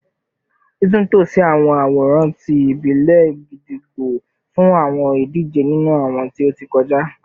Titunto si awọn aworan ti ibile gídígbò fun awọn idije ninu awọn ti o ti kọja